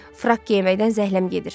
Frak geyməkdən zəhləm gedir.